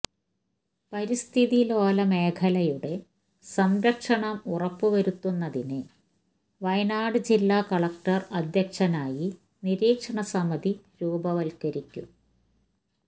പരിസ്ഥിതിലോല മേഖലയുടെ സംരക്ഷണം ഉറപ്പുവരുത്തുന്നതിന് വയനാട് ജില്ലാ കളക്ടർ അധ്യക്ഷനായി നിരീക്ഷണ സമിതി രൂപവത്കരിക്കും